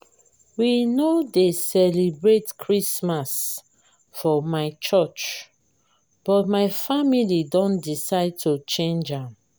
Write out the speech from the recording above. we no dey celebrate christmas for my curch but my family don decide to change am